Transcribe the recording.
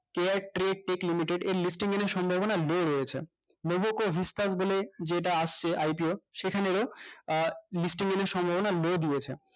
k i trade take limited এর সম্ভাবনা দূর হয়েছে logo স্তর বলে যেইটা আসছে idea সেখানে আহ নিশ্চিন্ত সম্ভাবনা বেড়ে গিয়েছে